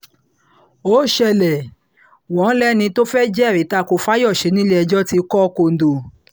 ó ṣẹlẹ̀ wọn lẹ́ni tó fẹ́ẹ́ jẹ́rìí ta ko fáyọsẹ̀ nílẹ̀-ẹjọ́ ti kọ́ kóńdó